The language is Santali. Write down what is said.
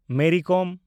ᱢᱮᱨᱤ ᱠᱚᱢ